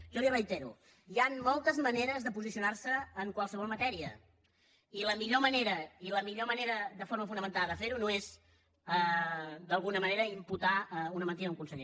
jo li ho reitero hi han moltes maneres de posicionar se en qualsevol matèria i la millor manera la millor manera de forma fonamentada de fer ho no és d’alguna manera imputar una mentida a un conseller